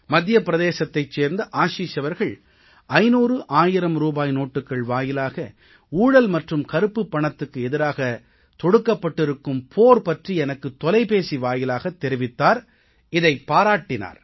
மத்திய பிரதேசத்தைச் சேர்ந்த ஆஷீஷ் அவர்கள் 500 1000 ரூபாய் நோட்டுக்கள் வாயிலாக ஊழல் மற்றும் கருப்புப் பணத்துக்கு எதிராகத் தொடுக்கப்பட்டிருக்கும் போர் பற்றி எனக்குத் தொலைபேசி வாயிலாக தெரிவித்தார் இதைப் பாராட்டினார்